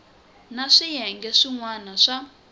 na swiyenge swin wana swa